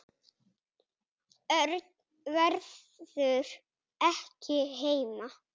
Örn verður ekki heima.